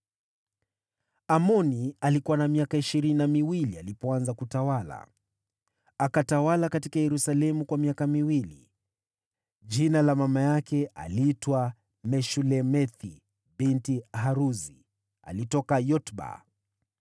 Amoni alikuwa na miaka ishirini na miwili alipoanza kutawala, naye akatawala huko Yerusalemu kwa miaka miwili. Mamaye aliitwa Meshulemethi binti Haruzi, kutoka Yotba.